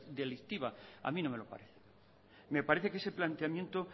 delictiva a mí no me lo parece me parece que ese planteamiento